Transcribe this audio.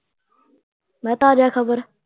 ਮੈਂ ਕਿਹਾਂ ਤਾਜ਼ਾ ਖਬਰ